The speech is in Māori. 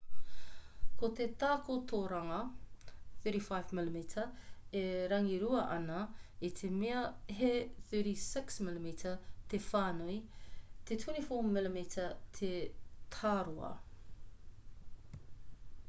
ko te takotoranga 35mm e rangirua ana i te mea he 36mm te whānui te24mm te tāroa